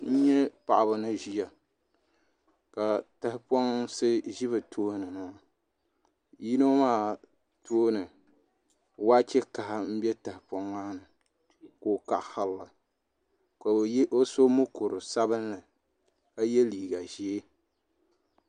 N nyɛ paɣaba ni ʒiya ka tahaponsi bɛ bi tooni yino maa tooni waachɛ kaha n bɛ tahapoŋ ni ka o kaɣasirili ka o so mokuru sabinli ka yɛ liiga ʒiɛ